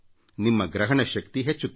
ನಿಮ್ಮ ಗ್ರಹಣ ಶಕ್ತಿ ಹೆಚ್ಚುತ್ತದೆ